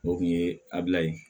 O kun ye abila ye